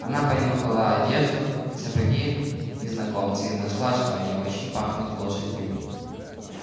она понюхала одежду и сапоги незнакомца и нашла что они очень пахнут лошадью